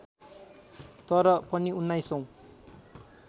तर पनि उन्नाइसौँ